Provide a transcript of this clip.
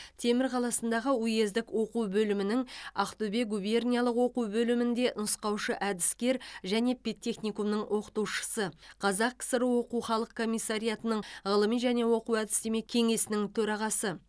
темір қаласындағы уездік оқу бөлімінің ақтөбе губерниялық оқу бөлімінде нұсқаушы әдіскер және педтехникумның оқытушысы қазақ кср оқу халық комиссариатының ғылыми және оқу әдістеме кеңесінің төрағасы